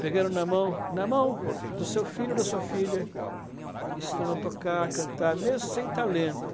Pegando na mão, na mão do seu filho ou da sua filha, estando a tocar, a cantar, mesmo sem talento.